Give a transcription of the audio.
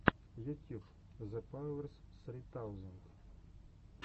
ютьюб зэпауэрс ссри таузенд